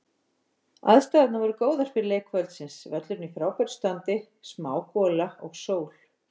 Aðstæðurnar voru góðar fyrir leik kvöldsins, völlurinn í frábæra standi, smá gola og sól.